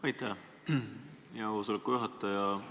Aitäh, hea koosoleku juhataja!